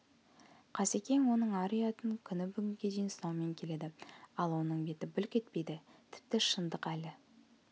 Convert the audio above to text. қасекең оның ар-ұятын күні бүгінге дейін сынаумен келеді ал оның беті бүлк етпейді тіпті шындық әлі